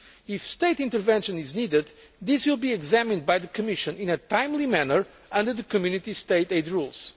If state intervention is needed, this will be examined by the Commission in a timely manner under the Community State aid